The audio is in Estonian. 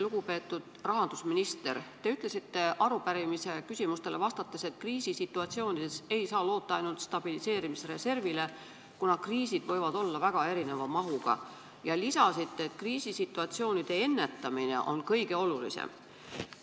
Lugupeetud rahandusminister, te ütlesite arupärimise küsimustele vastates, et kriisisituatsioonides ei saa loota ainult stabiliseerimisreservile, kuna kriisid võivad olla väga erineva mahuga, ja lisasite, et kriisisituatsioonide ennetamine on kõige olulisem.